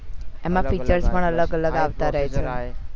એમાં futures પણ અલગ અલગ આવતા રેહે છે